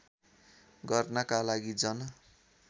गर्नका लागि जन